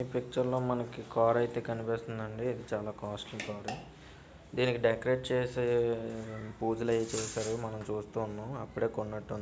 ఈ పిక్చర్ లో మనకి కార్ అయితే కనిపిస్తుందండి. చాలా కాస్ట్లీ కార్ డెకరేట్ చేసే పూజలు అయితే చేశారు. మనం చూస్తూ ఉన్నాం. అప్పుడే కొన్నట్టున్నది.